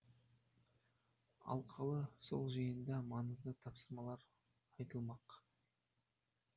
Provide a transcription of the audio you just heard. алқалы сол жиында маңызды тапсырмалар айтылмақ